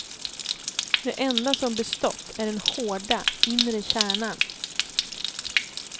Det enda som bestått är den hårda, inre kärnan.